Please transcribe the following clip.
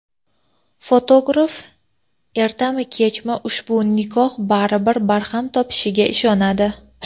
fotograf ertami-kechmi ushbu nikoh baribir barham topishiga ishonadi.